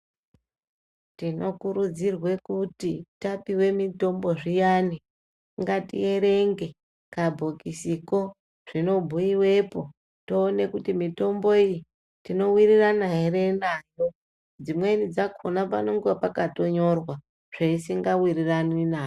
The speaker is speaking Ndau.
Tinokurudzirwe kuti tapiwe mitombo zviyani, ngatierenge kabhokisiko, zvinobhuyikepo toone kuti mitombo iyi tinowirirana here nayo. Dzimweni dzakhona panonga pakatonyorwa zveisingawirirani nayo.